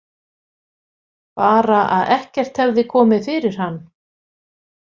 Bara að ekkert hefði komið fyrir hann.